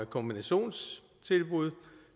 kombinationstilbud